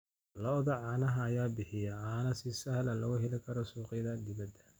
Lo'da caanaha ayaa bixiya caano si sahal ah looga heli karo suuqyada dibadda.